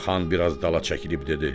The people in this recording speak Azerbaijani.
Xan biraz dala çəkilib dedi: